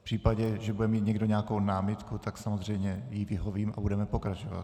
V případě, že bude mít někdo nějakou námitku, tak samozřejmě jí vyhovím a budeme pokračovat.